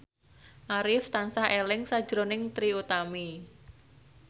Arif tansah eling sakjroning Trie Utami